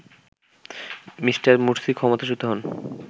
Me. Morsi ক্ষমতাচ্যুত হন